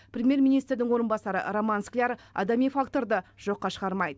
премьер министрдің орынбасары роман скляр адами факторды жоққа шығармайды